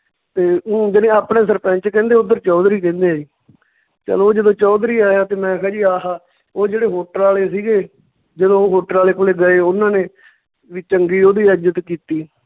ਤੇ ਊਂ ਜਾਣੀ ਆਪਣੇ ਸਰਪੰਚ ਕਹਿੰਦੇ ਓਧਰ ਚੌਧਰੀ ਕਹਿੰਦੇ ਸੀ ਚੱਲ ਓਹ ਜਦੋਂ ਚੌਧਰੀ ਆਇਆ ਤੇ ਮੈਂ ਕਿਹਾ ਜੀ ਆਹਾ, ਓਹ ਜਿਹੜੇ hotel ਆਲੇ ਸੀਗੇ ਜਦੋਂ ਓਹ hotel ਆਲੇ ਕੋਲੇ ਗਏ ਉਨਾਂ ਨੇ ਵੀ ਚੰਗੀ ਓਹਦੀ ਇੱਜਤ ਕੀਤੀ